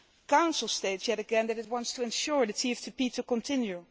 Council states yet again that it wants to ensure that the TFTP will continue.